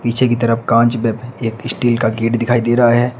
पीछे की तरफ कांच बे एक स्टील का गेट दिखाई दे रहा है।